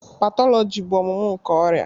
Pathology bụ ọmụmụ nke ọrịa.